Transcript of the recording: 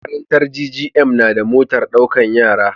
Makarantar GGM nada motar ɗaukar yara